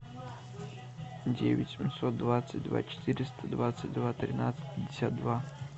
девять семьсот двадцать два четыреста двадцать два тринадцать пятьдесят два